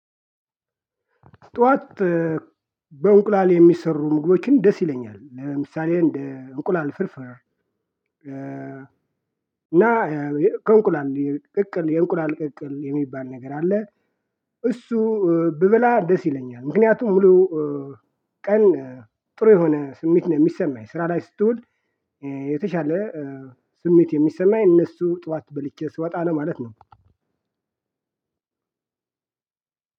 ጠዋት በእንቁላል የሚሰሩ ምግቦችን ደስ ይለኛል ለምሳሌ እንደ እንቁላል ፎርፍር። እና ከእንቁላል ቅቅል የእንቁላል ቅቅል የሚባል ነገር አለ። እሱ ብበላ ደስ ይለኛል። ምክንያቱም ሙሉ ቀን ጥሩ የሆነ ስሜት ነው የሚሰማኝ ስራ ላይ ስትዉል። የተሻለ ስሜት የሚሰማኝ እነሱ ጠዋት በልቼ ስወጣ ነው ለማለት ነው።